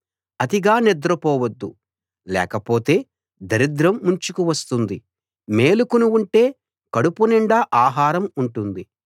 అతిగా నిద్ర పోవద్దు లేకపోతే దరిద్రం ముంచుకు వస్తుంది మేలుకుని ఉంటే కడుపు నిండా ఆహారం ఉంటుంది